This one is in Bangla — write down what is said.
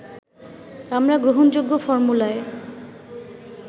আমরা গ্রহণযোগ্য ফর্মুলায়